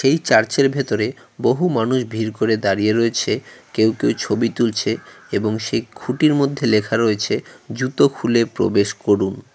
এই চার্চের ভেতরে বহু মানুষ ভির করে দাঁড়িয়ে রয়েছে কেউ কেউ ছবি তুলছে এবং সেই খুঁটির মধ্যে লেখা রয়েছে জুতো খুলে প্রবেশ করুন।